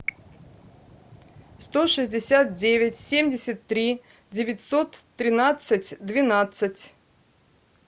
сто шестьдесят девять семьдесят три девятьсот тринадцать двенадцать